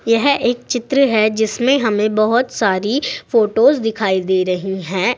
यह एक चित्र है जिसमें हमें बहोत सारी फोटोस दिखाई दे रही है।